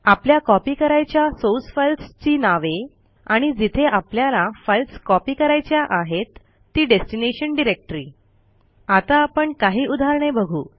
आपल्या कॉपी करायच्या source files ची नावे आणि जिथे आपल्याला फाईल्स कॉपी करायच्या आहेत ती डेस्टिनेशन डायरेक्टरी आता आपण काही उदाहरणे बघू